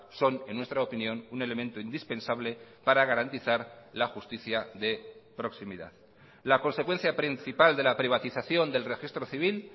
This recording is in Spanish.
son en nuestra opinión un elemento indispensable para garantizar la justicia de proximidad la consecuencia principal de la privatización del registro civil